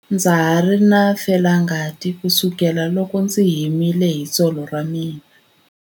Ndza ha ri na felangati kusukela loko ndzi himile hi tsolo ra mina.